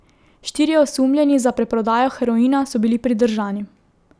Štirje osumljeni za preprodajo heroina so bili pridržani.